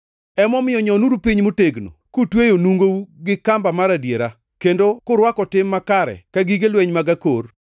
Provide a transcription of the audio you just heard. Emomiyo nyonuru piny motegno, kutweyo nungou gi kamba mar adiera, kendo kurwako tim makare ka gige lweny mag akor,